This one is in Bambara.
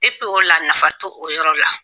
Depi o la nafa to o yɔrɔ la.